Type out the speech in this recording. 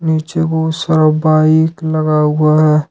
नीचे बहुत सारा बाइक लगा हुआ है।